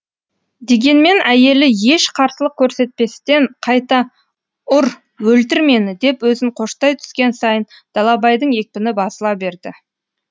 дегенмен әйелі еш қарсылық көрсетпестен қайта ұр өлтір мені деп өзін қоштай түскен сайын далабайдың екпіні басыла берді